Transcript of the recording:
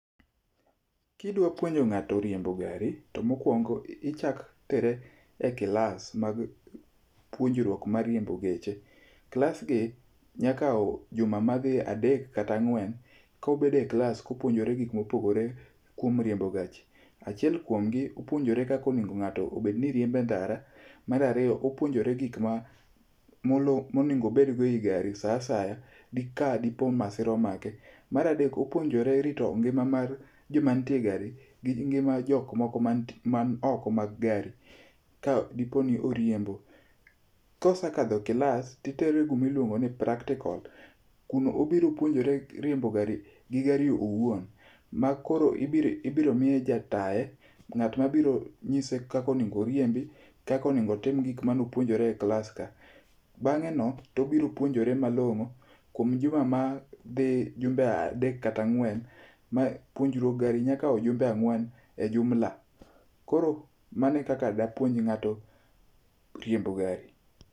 Kidwa puonjo ng'ato riembo gari, to mokwongo ichak tere e kilas mag puonjruok mar riembo geche. Klasgi nyakawo juma madhi adek katang'wen kobede klas kopuonjore gik mopogore kuom riembo gachi. Achiel kuomgi opuonjore kakonego ng'ato obedni riembe ndara. Marariyo opunjore gikma monego bedgo ei gari sa asaya dika ka dipo ni masira omake. Maradek opuonjore rito ngima mar joma nitie e gari gi ngima jokmoko man oko mag gari kadipo ni oriembo. Kosekadho kilas titere kumiluongo ni practical. Kuno obiro puonjore riembo gari gi gari owuon, ma koro ibiromiye ja tae. Ng'at ma biro nyise kakonego oriembi, kakonego otim gikma nopuonjore e kilas ka. Bang'e no tobiro puonjore malong'o kuom juma ma dhi jumbe adek kata ang'wen. Ma puonjruok gari nyakao jumbe ang'wen e jumla. Koro manekaka dapuon ng'ato riembo gari.